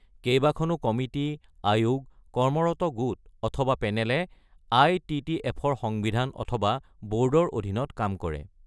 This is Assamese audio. কেইবাখনো কমিটি, আয়োগ, ৱৰ্কিং গ্ৰুপ অথবা পেনেলে আই.টি.টি.এফ.-ৰ সংবিধানৰ অধীনত বা ব’ৰ্ডৰ অধীনত কাম কৰে।